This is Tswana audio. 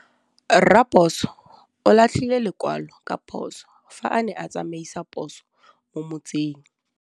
Raposo o latlhie lekwalô ka phosô fa a ne a tsamaisa poso mo motseng.